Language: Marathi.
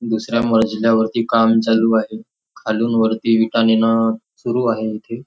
दुसऱ्या मजल्यावरती काम चालू आहे खालून वरती विटा नेणं सुरु आहे इथे.